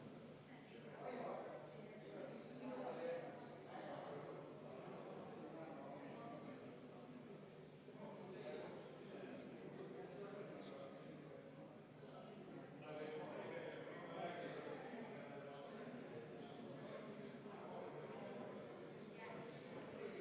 Meil on ees Vabariigi Valitsuse algatatud maksukorralduse seaduse muutmise ja tulumaksuseaduse muutmise seaduse eelnõu 506 kolmas lugemine.